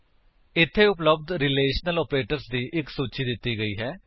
ਇੱਥੇ ਉਪਲੱਬਧ relational operators ਦੀ ਇੱਕ ਸੂਚੀ ਦਿੱਤੀ ਗਈ ਹੈ